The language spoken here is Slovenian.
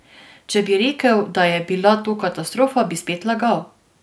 Če bi rekel, da je bila to katastrofa, bi spet lagal.